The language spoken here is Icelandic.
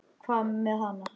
Hvað með hana?